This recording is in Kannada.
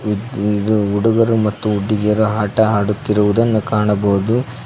ಇದು ಹುಡುಗರು ಮತ್ತು ಹುಡುಗಿಯರು ಆಟ ಆಡುತ್ತಿರುವುದನ್ನು ಕಾಣಬಹುದು.